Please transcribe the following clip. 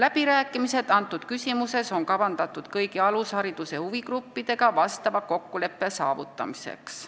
On kavandatud läbirääkimised kõigi alushariduse huvigruppidega, et kokkuleppele jõuda.